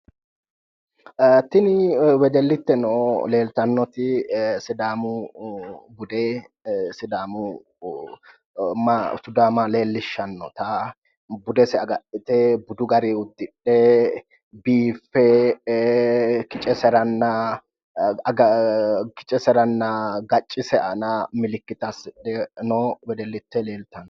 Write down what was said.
Tinni wedelitteno leeltanoti sidaamu Bude sidaamu maafuda leelishanota budese agadhite budu gari udidhe biife kiceseranna ga'acise aanna mallaate asedhe noo wedelite leeltano.